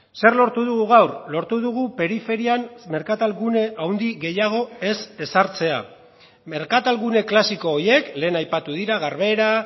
zer lortu dugu gaur lortu dugu periferian merkatalgune handi gehiago ez ezartzea merkatalgune klasiko horiek lehen aipatu dira garbera